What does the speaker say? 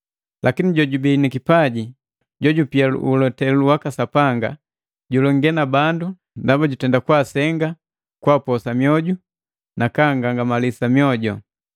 Lakini jojubii nikipaji jojupia ulotelu waka Sapanga, julonge na bandu ndaba jwaasenga, kupoosa mwioju nakagangamalisa mwoju.